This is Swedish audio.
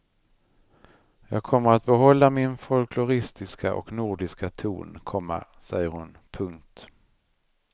Jag kommer att behålla min folkloristiska och nordiska ton, komma säger hon. punkt